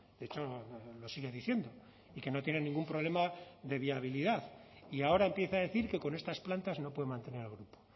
de hecho lo sigue diciendo y que no tiene ningún problema de viabilidad y ahora empieza a decir que con estas plantas no puede mantener el grupo